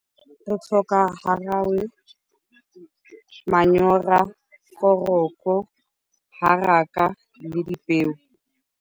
Re tlhoka garawe, manyoro, foroko, haraka le dipeo.